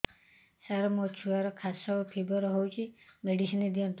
ସାର ମୋର ଛୁଆର ଖାସ ଓ ଫିବର ହଉଚି ମେଡିସିନ ଦିଅନ୍ତୁ